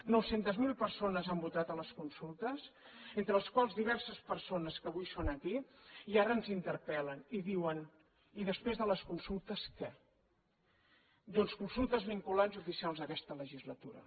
nou centes mil persones han votat a les consultes entre les quals diverses persones que avui són aquí i ara ens interpel·len i diuen i després de les consultes què doncs consultes vinculants i oficials aquesta legislatura